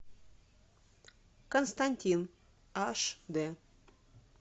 константин аш дэ